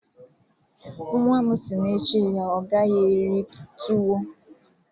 Nwa m si n'echi ya agaghi eri tuwo